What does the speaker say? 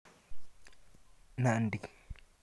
Nandi